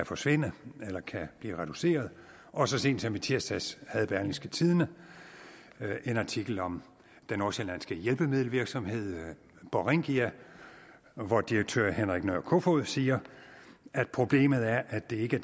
forsvinder eller bliver reduceret og så sent som i tirsdags havde berlingske tidende en artikel om den nordsjællandske hjælpemiddelvirksomhed borringia hvor direktør henrik nørh kofoed siger at problemet er at det ikke